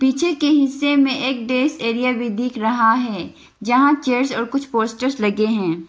पीछे के हिस्से में एक डेस्क एरिया भी दिख रहा है यहां चेयर्स और कुछ पोस्टर्स लगे हैं।